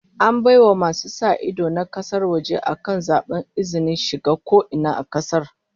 An bai wa masu sa ido na kasar waje akan zaben izinin shiga ko ina a kasar